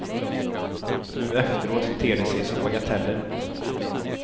Nu efteråt ter det sig som bagateller. punkt